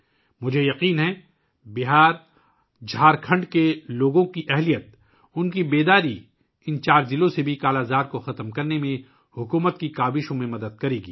مجھے یقین ہے کہ بہارجھارکھنڈ کے لوگوں کی طاقت اور بیداری ان چار اضلاع سے 'کالا آزار' کو ختم کرنے کی حکومت کی کوششوں میں بھی مدد کرے گی